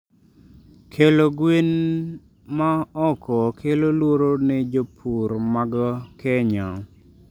Kelo gwene ma oko kelo luoro ne jopur mag Kenya